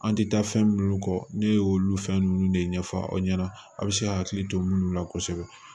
An ti taa fɛn minnu kɔ ne y'olu fɛn ninnu de ɲɛfɔ aw ɲɛna a' bɛ se ka hakili to minnu la kosɛbɛ